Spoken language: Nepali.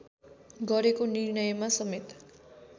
गरेको निर्णयमा समेत